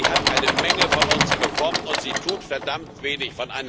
Sie hat eine Menge von uns bekommen, und sie tut verdammt wenig.